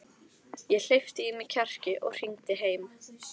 Ég hleypti í mig kjarki og hringdi heim.